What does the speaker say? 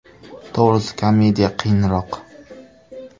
To‘g‘risi komediya qiyinroq.